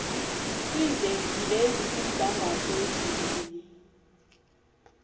kwiivenkile ezikumgangatho wezibini